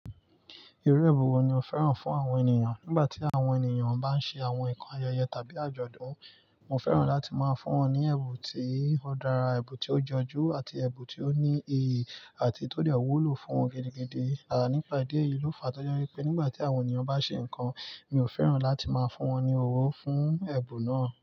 Irú ẹ̀bùn wo ni o fẹ́ràn fún àwọn ènìyàn nígbà tí àwọn ènìyàn bá ń ṣe àwọn nǹkan ayẹyẹ tàbí àjọ̀dún? Mo fẹ́ràn láti máa fún wọn ní ẹ̀bùn tí ó dára, ẹ̀bùn tí ó jọjú, àti ẹ̀bùn tí ó ní iyì àti tó dẹ̀ wúlò fún wọn gidi gidí. Nípa ìdí èyí ló fa tó jẹ́ wípé nígbà tí àwọn ènìyàn bá ṣe nǹkan, mi ò fẹ́ràn láti máa fún wọn ní owó fún ẹ̀bùn náà.